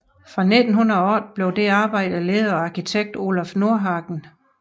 Fra 1908 blev dette arbejde ledet af arkitekt Olaf Nordhagen